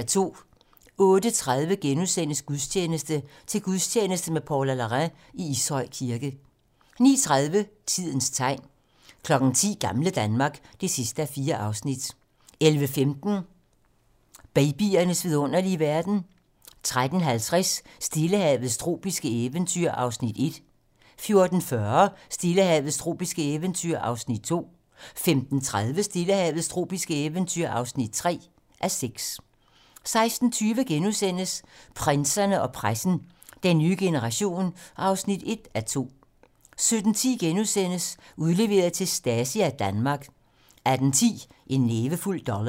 08:30: Gudstjeneste: Til gudstjeneste med Paula Larrain i Ishøj Kirke * 09:30: Tidens tegn 10:00: Gamle Danmark (4:4) 11:15: Babyernes vidunderlige verden 13:50: Stillehavets tropiske eventyr (1:6) 14:40: Stillehavets tropiske eventyr (2:6) 15:30: Stillehavets tropiske eventyr (3:6) 16:20: Prinserne og pressen - Den nye generation (1:2)* 17:10: Udleveret til Stasi af Danmark * 18:10: En nævefuld dollars